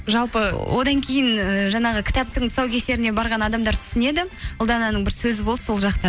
жалпы одан кейін ііі жаңағы кітаптың тұсаукесеріне барған адамдар түсінеді ұлдананың бір сөзі болды сол жақта